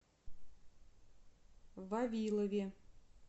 вавилове